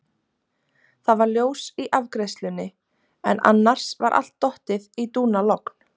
Það var ljós í afgreiðslunni en annars var allt dottið í dúnalogn.